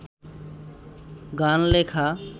গান লেখা